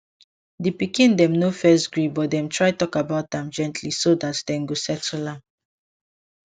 di pikin dem no first gree but dem try talk about am gently so det dem go settle am